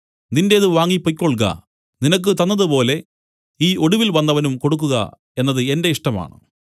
നിന്റേത് വാങ്ങി പൊയ്ക്കൊൾക നിനക്ക് തന്നതുപോലെ ഈ ഒടുവിൽ വന്നവനും കൊടുക്കുക എന്നത് എന്റെ ഇഷ്ടമാണ്